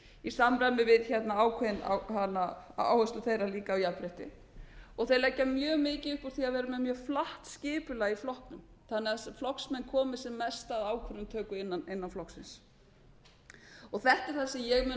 í samræmi við ákveðna áherslu þeirra á jafnrétti og þeir leggja mjög mikið upp úr því að vera með mjög flatt skipulag í flokknum þannig að flokksmenn komi sem mest á ákvarðanatöku innan flokksins þetta er það sem ég mun leggja